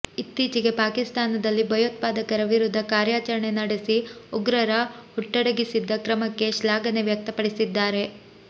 ಇತ್ತೀಚೆಗೆ ಪಾಕಿಸ್ತಾನದಲ್ಲಿ ಭಯೋತ್ಪಾದಕರ ವಿರುದ್ಧ ಕಾರ್ಯಾಚರಣೆ ನಡೆಸಿ ಉಗ್ರರ ಹುಟ್ಟಡಗಿಸಿದ್ದ ಕ್ರಮಕ್ಕೆ ಶ್ಲಾಘನೆ ವ್ಯಕ್ತಪಡಿಸಿದ್ದಾರೆ